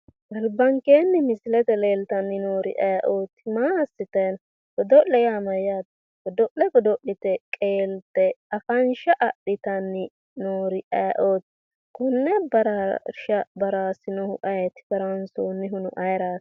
Albankeenni misilete leeltanni noori ayeeooti? maa assitanni no? Godo'le yaa mayyaate? Godo'le godo'lite qeelte afansha adhinanni noori ayeeooti? konne baraarsha baarasinohu ayeeti baraansoonnihuno ayeeraati.